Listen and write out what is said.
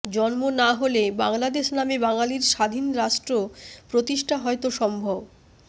জন্ম না হলে বাংলাদেশ নামে বাঙালির স্বাধীন রাষ্ট্র প্রতিষ্ঠা হয়তো সম্ভব